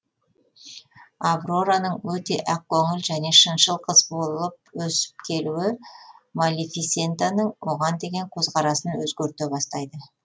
аврораның өте ақ көңіл және шыншыл қыз болып өсіп келуі малефисентаның оған деген қөзқарасын өзгерте бастайды